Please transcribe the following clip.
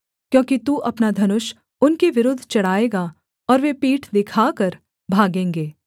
क्योंकि तू अपना धनुष उनके विरुद्ध चढ़ाएगा और वे पीठ दिखाकर भागेंगे